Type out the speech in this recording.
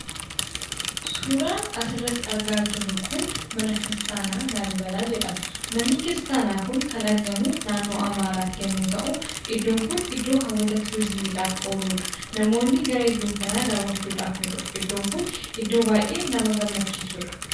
Suuraan asirratti argaa jirru kun mana kiristaanaa Laallibelaa jedhama. Manni kiristaanaa kun kan argamu naannoo Amaaraatti yommuu ta'u, iddoon kun iddoo hawwata turizimiidhaaf ooludha. Namoonni gara iddoo kanaa daawwachuudhaaf ni dhufu. Iddoon kun iddoo baay'ee nama gammachiisudha!